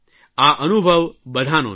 આ અનુભવ બધાંનો છે